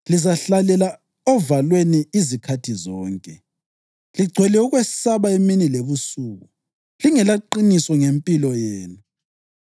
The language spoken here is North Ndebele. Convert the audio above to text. Lizahlalela ovalweni izikhathi zonke, ligcwele ukwesaba emini lebusuku, lingelaqiniso ngempilo yenu.